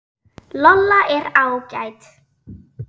Lolla er ágæt.